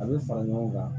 A bɛ fara ɲɔgɔn kan